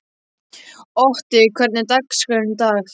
Otti, hvernig er dagskráin í dag?